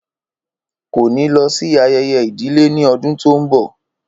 Kò ní lọ sí ayẹyẹ ìdílé ní ọdún tó ń bọ̀